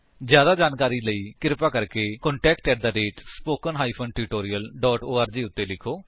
ਜਿਆਦਾ ਜਾਣਕਾਰੀ ਦੇ ਲਈ ਕਿਰਪਾ ਕਰਕੇ contactspoken tutorialorg ਨੂੰ ਲਿਖੋ